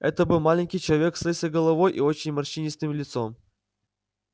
это был маленький человек с лысой головой и очень морщинистым лицом